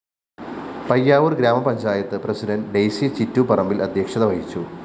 Payyavoor‍ grama panchayat president Daisy Chittooparambil‍ അധ്യക്ഷത വഹിച്ചു